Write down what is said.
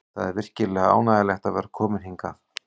Það er virkilega ánægjulegt að vera kominn hingað.